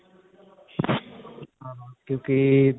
ਕਿਉੰਕਿ.